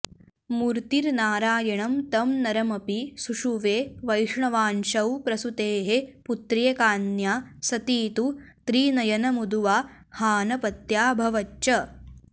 मूर्तिर्नारायणं तं नरमपि सुषुवे वैष्णवांशौ प्रसूतेः पुत्र्येकाऽन्या सती तु त्रिनयनमुदुवाहाऽनपत्याऽभवच्च